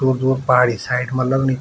दूर-दूर पहाड़ी साइड मा लगणी --